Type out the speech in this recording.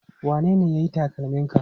Wanene ya yi takalminka?